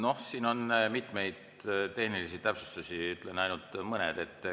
Noh, siin on mitmeid tehnilisi täpsustusi, ütlen ainult mõne.